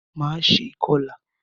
Máa ṣe ìkọlà.